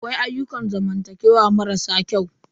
Akwai ayyukan zamantakewa mara sa kyau.